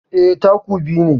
Eh, taku biyu ne